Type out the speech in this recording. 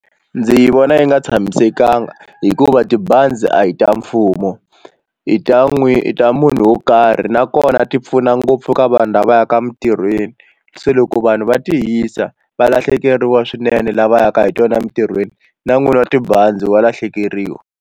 Ndzi vona yi nga tshamisekanga hikuva tibazi a hi ta mfumo i ta n'wi i ta munhu wo karhi nakona ti pfuna ngopfu ka vanhu lava yaka emintirhweni se loko vanhu va ti hisa va lahlekeriwa swinene lava yaka hi tona emintirhweni na n'wini wa tibazi va lahlekeriwa.